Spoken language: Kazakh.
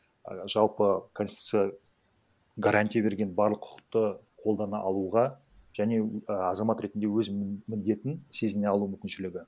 і жалпы конституция гарантия берген барлық құқықты қолдана алуға және а азамат ретінде өзінің міндетін сезіне алу мүмкіншілігі